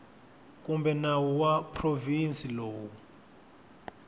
kumbe nawu wa provhinsi lowu